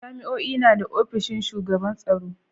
Jami'o'i na da ofishin shugaban tsaro.